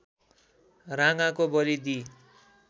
राँगाको बली दिई